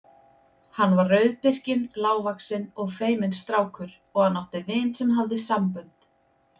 Hann var rauðbirkinn, lágvaxinn og feiminn strákur og hann átti vin sem hafði sambönd.